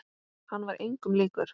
Hann var engum líkur.